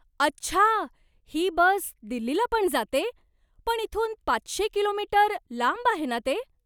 अच्छा! ही बस दिल्लीला पण जाते? पण इथून पाचशे किलो मीटर लांब आहे ना ते?